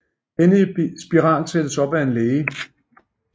Denne spiral sættes op af en læge